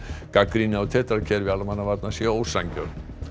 gagnrýni á tetra kerfi almannavarna sé ósanngjörn